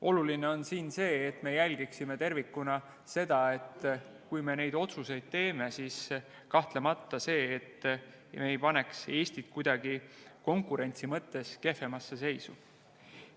Oluline on siin see, et me jälgiksime tervikuna seda, et kui me neid otsuseid teeme, siis me ei paneks Eestit konkurentsi mõttes kuidagi kehvemasse seisu.